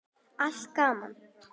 Allt gaman.